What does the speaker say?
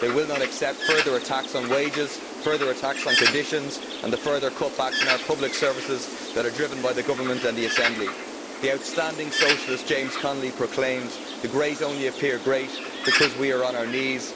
They will not accept further attacks on wages, further attacks on conditions and the further cutbacks in our public services that are driven by the government and the Assembly. The outstanding socialist, James Connolly, proclaimed The great only appear great because we are on our knees.